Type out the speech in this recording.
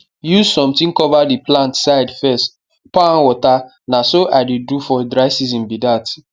use something cover di plant side fess pour am water na so i dey do for dry season bi dat